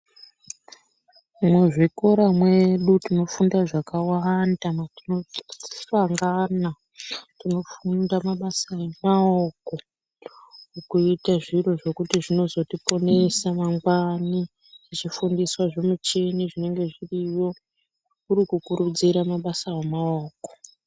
Mu zvikora mwedu tinofunda zvakawanda tino dzidziswa ngana tino funda mabasa emaoko kuite zviro zvekuti zvinozoti ponesa mangwani tichi fundiswa zvi muchini zvinenge zviriyo kuriku kurudzira mabasa emaoko.